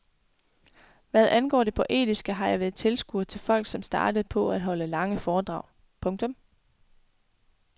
Hvad angår det poetiske har jeg været tilskuer til folk som startede på at holde lange foredrag. punktum